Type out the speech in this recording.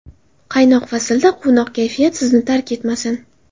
Qaynoq faslda quvnoq kayfiyat sizni tark etmasin.